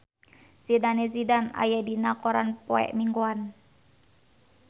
Zidane Zidane aya dina koran poe Minggon